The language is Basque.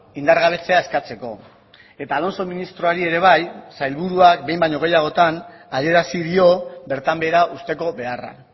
indargabetzea eskatzeko eta alonso ministroari ere bai sailburuak behin baino gehiagotan adierazi dio bertan behera uzteko beharra